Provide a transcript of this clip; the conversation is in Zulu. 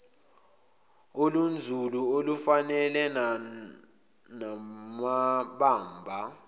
olunzulu olufanele namabamba